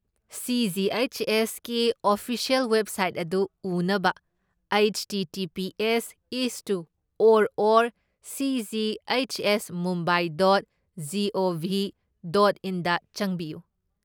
ꯁꯤ.ꯖꯤ.ꯑꯩꯆ.ꯑꯦꯁ.ꯀꯤ official website ꯑꯗꯨ ꯎꯅꯕ ꯍꯩꯠꯁꯇꯤꯇꯤꯄꯤꯑꯦꯁ ꯢꯁꯇꯨ or or ꯁꯤꯖꯤꯍꯩꯠꯁꯑꯦꯁꯃꯨꯝꯕꯥꯢ dot GOV dot ꯢꯟꯗ ꯆꯪꯕꯤꯌꯨ꯫